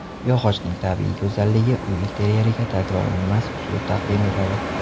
Yog‘ochning tabiiy go‘zalligi uy interyeriga takrorlanmas uslub taqdim etadi.